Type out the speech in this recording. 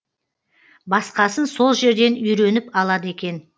басқасын сол жерден үйреніп алады екен